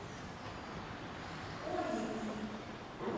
онеги